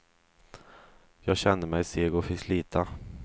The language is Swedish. Jag kände mig seg och fick slita.